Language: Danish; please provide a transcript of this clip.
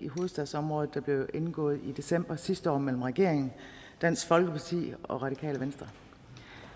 i hovedstadsområdet der blev indgået i december sidste år mellem regeringen dansk folkeparti og radikale venstre